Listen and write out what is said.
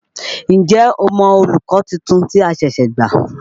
N jẹ́ o mọ olùkọ́ tuntun tí a ṣẹ̀ṣẹ̀ gbà?